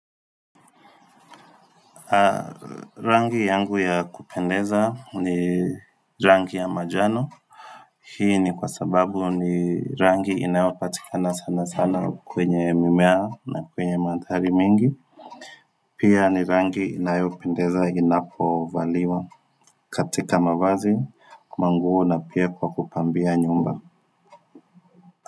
Rangi yangu ya kupendeza ni rangi ya manjano Hii ni kwa sababu ni rangi inayopatikana sana sana kwenye mimea na kwenye mandhari mingi Pia ni rangi inayopendeza inapovaliwa katika mavazi, manguo na pia kwa kupambia nyumba.